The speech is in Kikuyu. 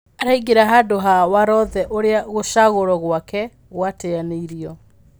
Araingĩra handũha Warothe ũrĩa gũcagũrwo gwake gwateanĩirwo.